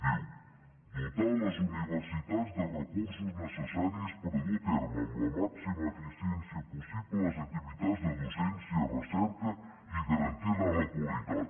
diu dotar les universitats dels recursos necessaris per dur a terme amb la màxima eficiència possible les activitats de docència i recerca i garantir ne la qualitat